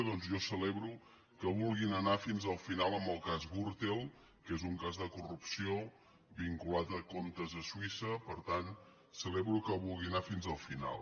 doncs jo celebro que vulguin anar fins al final en el cas gürtel que és un cas de corrupció vinculat a comptes a suïssa per tant celebro que hi vulguin anar fins al final